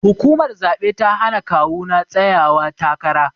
Hukumar zabe ta hana kawu na tsayawa takara.